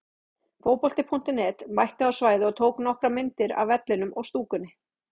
Fótbolti.net mætti á svæðið og tók nokkrar myndir af vellinum og stúkunni.